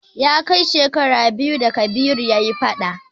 Ya kai shekara biyu da Kabiru ya yi fada.